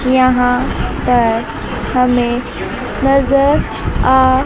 यहां पर हमें नजर आ--